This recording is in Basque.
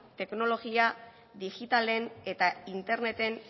teknologia digitalen eta interneten